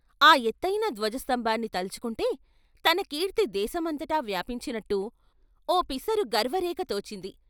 ఆ ఎత్తయిన ధ్వజ స్తంభాన్ని తలుచుకుంటే తన కీర్తి దేశమంతటా వ్యాపించినట్టు ఓ పిసరు గర్వ రేఖ తోచింది.